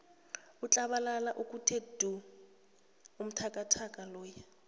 utlabalaza okuthe du umtakadade loya